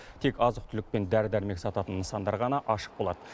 тек азық түлік пен дәрі дәрмек сататын нысандар ғана ашық болады